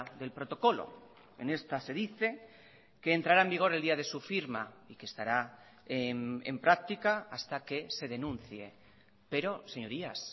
del protocolo en esta se dice que entrará en vigor el día de su firma y que estará en práctica hasta que se denuncie pero señorías